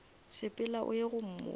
sepela o ye go mmotša